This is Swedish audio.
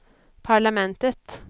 parlamentet